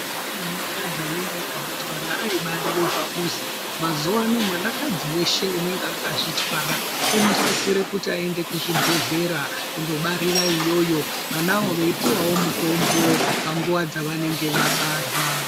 Ana kadzi anenge akazvi twara aibarire pamuzi mazuva ano mwana kadzi weshe unenge akazvi twara uno sisire kuti ayende ku chibhedhlera kundo barira iyoyo vanayo vei puwawo mutombo pa nguva dza vanenge vabarwa.